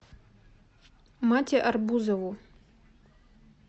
мате арбузову